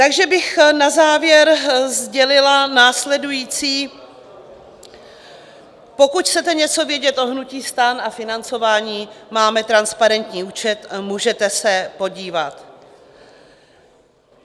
Takže bych na závěr sdělila následující: Pokud chcete něco vědět o hnutí STAN a financování, máme transparentní účet, můžete se podívat.